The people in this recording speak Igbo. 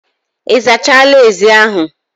Ị zachala ezi ahụ